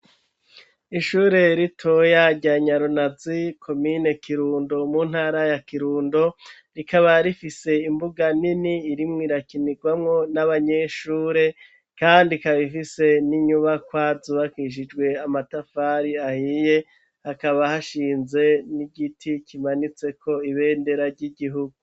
Ishure ritoya rya Nyarunazi komine Kirundo mu ntara ya Kirundo, rikaba rifise imbuga nini irimwo irakinirwamwo n'abanyeshure, kandi ikabifise n'inyubakwa zubakishijwe amatafari ahiye, hakaba hashinze n'igiti kimanitseko ibendera ry'igihugu.